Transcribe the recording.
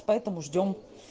поэтому ждём